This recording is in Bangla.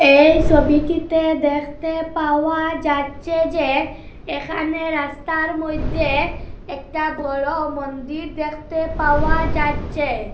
এই সবিটিতে দেকতে পাওয়া যাচ্চে যে এখানে রাস্তার মইদ্যে একটা বড় মন্দির দেকতে পাওয়া যাচ্চে।